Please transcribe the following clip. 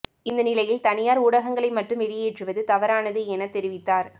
இந்த நிலையில் தனியார் ஊடகங்களை மட்டும் வெளியேற்றுவது தவறானது என தெரிவித்தார்